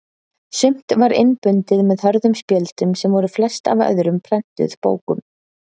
Sumt var innbundið með hörðum spjöldum sem voru flest af öðrum prentuðum bókum.